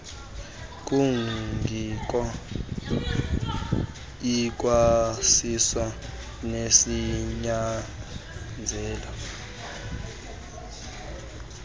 kungko ikwasiso nesinyanzeliso